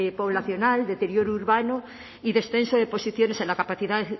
poblacional deterioro urbano y descenso de posiciones en la capacidad